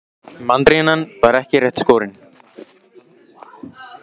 Þú mátt ekki láta þessháttar hégiljur slá þig útaf laginu.